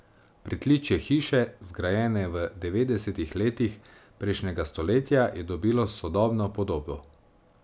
Pritličje hiše, zgrajene v devetdesetih letih prejšnjega stoletja, je dobilo sodobno podobo.